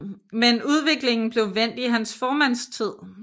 Men udviklingen blev vendt i hans formandstid